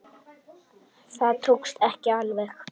Það tókst ekki alveg.